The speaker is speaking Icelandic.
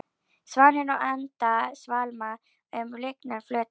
Svanir og endur svamla um lygnan flötinn.